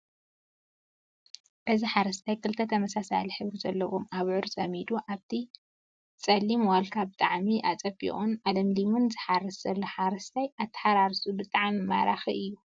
እዚ ሓረስታይ ክልተ ተመሳሳሊ ሕብሪ ዘለዎም ኣብዑር ፀሚዱ ኣብቲ ፀሊም ዋልካ ብጣዕሚ ኣፀቢቁን ኣለምሊሙን ዝሓርስ ዘሎ ሓረስታይ ኣተሓራርስኡ ብጣዕሚ ማራኪ እዩ፡፡